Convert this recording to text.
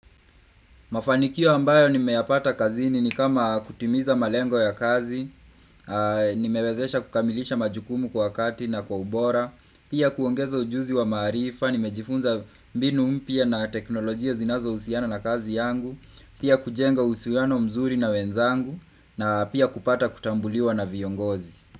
Mafanikio ambayo nimeyapata kazini ni kama kutimiza malengo ya kazi, nimewezesha kukamilisha majukumu kwa kati na kwa ubora, pia kuongeza ujuzi wa maarifa, nimejifunza mbinu mpya na teknolojia zinazo usiana na kazi yangu, pia kujenga usiano mzuri na wenzangu, na pia kupata kutambuliwa na viongozi.